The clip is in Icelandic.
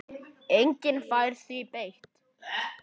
Enginn fær því breytt.